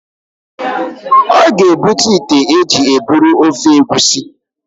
ọ ga-ebute ite e ji eburu ofe egusi